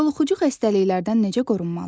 Yoluxucu xəstəliklərdən necə qorunmalı?